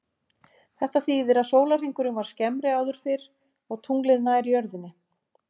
Þetta þýðir að sólarhringurinn var skemmri áður fyrr og tunglið nær jörðinni.